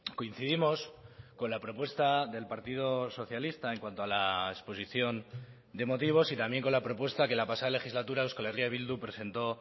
coincidimos con la propuesta del partido socialista en cuanto a la exposición de motivos y también con la propuesta que la pasada legislatura euskal herria bildu presentó